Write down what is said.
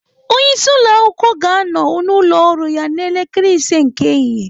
Onye isi ụlọ akwụkwọ ga-anọ n'ụlọ ọrụ ya n'elekere ise nke ehihie.